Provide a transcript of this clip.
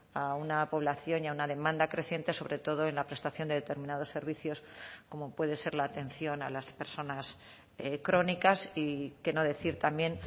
a una población y a una demanda creciente sobre todo en la prestación de determinados servicios como puede ser la atención a las personas crónicas y qué no decir también